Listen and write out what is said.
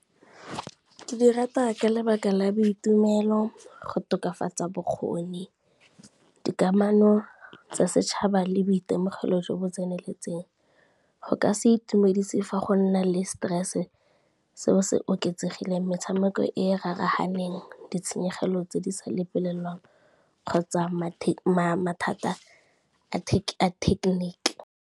Ke di rata ka lebaka la boitumelo, go tokafatsa bokgoni, dikamano tsa setšhaba le boitemogelo jo bo tseneletseng. Go ka se itumedise fa go na le stress seo se oketsegileng, metshameko e e raraganeng, ditshenyegelo tse di sa lebelelwang kgotsa mathata a technique.